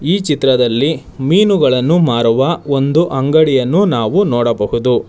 ಈ ಚಿತ್ರದಲ್ಲಿ ಮೀನುಗಳನ್ನು ಮಾರುವ ಒಂದು ಅಂಗಡಿಯನ್ನು ನಾವು ನೋಡಬಹುದು.